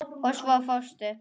Og svo fórstu.